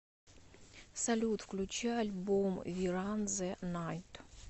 салют включи альбом ви ран зэ найт